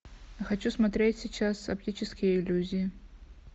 хочу смотреть сейчас оптические иллюзии